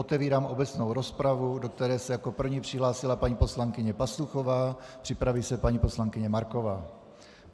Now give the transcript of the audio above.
Otevírám obecnou rozpravu, do které se jako první přihlásila paní poslankyně Pastuchová, připraví se paní poslankyně Marková.